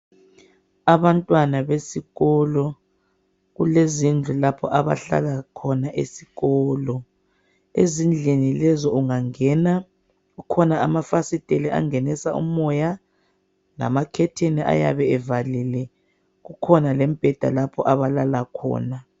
Abantwana besikolo kulezindlu lapho abahlala khona esikolo. Ezindlini lezi ungangena kukhona amafasitele angenisa umoya lamacurtain ayabe evalile. Kukhona lembheda lapho abalala khona.